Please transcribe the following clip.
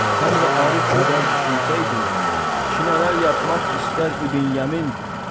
Sən də Arif qədər düşünsəydin, ki nələr yapmaq istər İbn Yəmin.